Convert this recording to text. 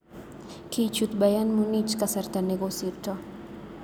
Kichut Bayern Munich kasarta nekosirto.